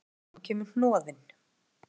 Upp úr honum kemur hnoðinn